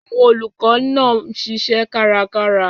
Àwọn olùkọ́ náà ń ṣiṣẹ́ kárakára.